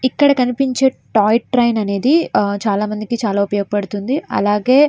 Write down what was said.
ఇక్కడ కనిపించే toy train అనేది చాలామందికి చాలా బాగా ఉపయోగపడుతుంది. అలాగే --